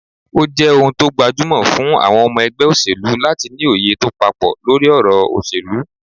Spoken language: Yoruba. Ó jẹ́ ohun tó gbajúmọ̀ jù fún àwọn ọmọ ẹgbẹ́ òṣèlú láti ní òye tó papọ̀ lórí ọ̀rọ̀ òṣèlú